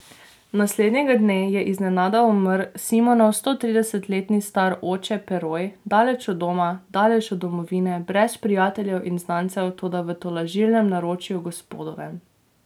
Naslednjega dne je iznenada umrl Simonov sto trideset let star oče Peroj, daleč od doma, daleč od domovine, brez prijateljev in znancev, toda v tolažilnem naročju Gospodovem.